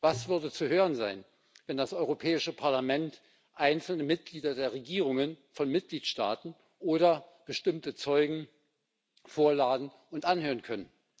Was würde zu hören sein, wenn das Europäisches Parlament einzelne Mitglieder der Regierungen von Mitgliedstaaten oder bestimmte Zeugen vorladen und anhören könnte?